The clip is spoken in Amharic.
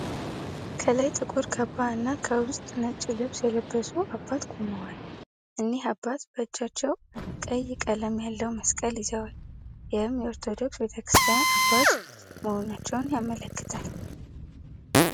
ከላይ ጥቁር ካባ እና ከውስጥ ነጭ ልብስ የለበሱ አባት ቁመዋል። እኒህ አባት በእጃቸው ቀይ ቀለም ያለው መስቀል ይዘዋል። ይህም የኦርቶዶክስ ቤተክርስቲያን አባት መሆናቸውን ያመላክታል።